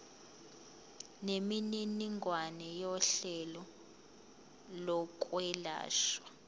nemininingwane yohlelo lokwelashwa